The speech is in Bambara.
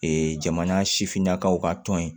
jamana sifinnakaw ka tɔn ye